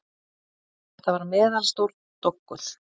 Þetta var meðalstór doggur.